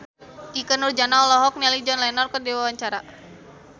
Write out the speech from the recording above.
Ikke Nurjanah olohok ningali John Lennon keur diwawancara